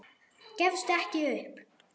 Gefstu ekki upp.